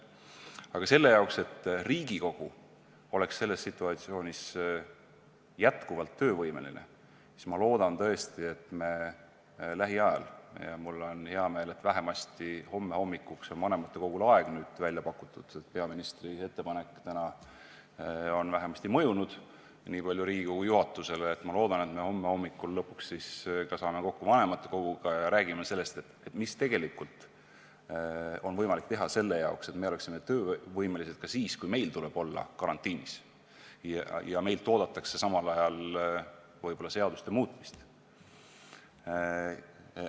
Aga selle jaoks, et Riigikogu oleks selles situatsioonis endiselt töövõimeline, loodan ma tõesti, et me lähiajal – ja mul on hea meel, et vähemasti homme hommikuks on vanematekogul aeg välja pakutud, peaministri tänane ettepanek on vähemasti nii palju Riigikogu juhatusele mõjunud –, homme hommikul saame lõpuks kokku ka vanematekoguga ja räägime sellest, mida tegelikult on võimalik ära teha, et oleksime töövõimelised ka siis, kui meil tuleb olla karantiinis ja samal ajal oodatakse meilt võib-olla seaduste muutmist.